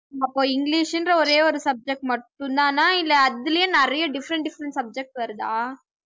அப்போ இங்கிலிஷ்ன்ற ஒரே ஒரு subject மட்டும்தானா இல்லை அதுலயே நிறைய different different subjects வருதா